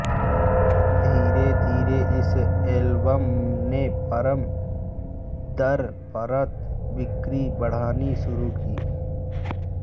धीरेधीरे इस एल्बम ने परत दर परत बिक्री बढ़ानी शुरू की